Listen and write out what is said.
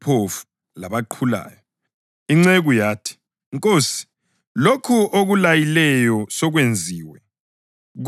Inceku yathi, ‘Nkosi, lokho okulayileyo sokwenziwe kodwa indawo isesekhona.’